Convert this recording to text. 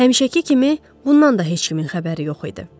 Həmişəki kimi, bundan da heç kimin xəbəri yox idi.